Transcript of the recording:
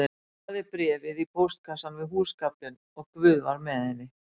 Hún lagði bréfið í póstkassann við húsgaflinn og Guð var með henni